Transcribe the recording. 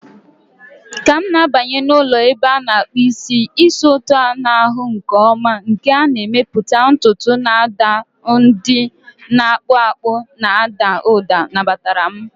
Ka m na-abanye n'ụlọ ebe a na-akpụ isi, ísì ụtọ a na-ahụ nke ọma nke a na-emepụta ntutu na ụda ndị na-akpụ akpụ na-ada ụda nabatara m.